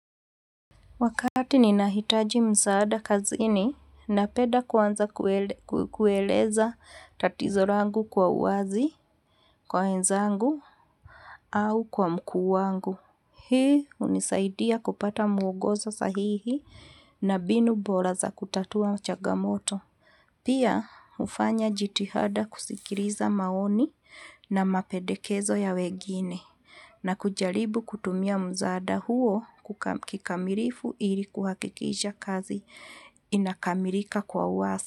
Wakati ninahitaji msaada kazini, napenda kuaanza kueleza tatizo langu kwa uwazi, kwa wenzangu, au kwa mkuu wangu. Hii hunisaidia kupata muongozo sahihi na mbinu bora za kutatua changamoto. Pia, hufanya jitihada kusikiliza maoni na mapendekezo ya wengine, na kujaribu kutumia msaada huo kikamilifu ili kuwakikisha kazi inakamilika kwa uwazi.